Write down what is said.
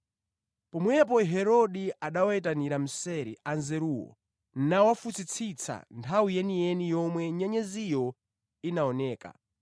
Pomwepo Herode anawayitanira mseri Anzeruwo nawafunsitsa nthawi yeniyeni yomwe nyenyeziyo inaoneka.